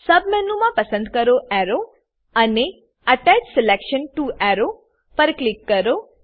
સબમેનુમાં પસંદ કરો એરો અને અટેચ સિલેક્શન ટીઓ એરો પર ક્લિક કરો